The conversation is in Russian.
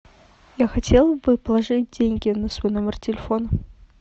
я хотела бы положить деньги на свой номер телефона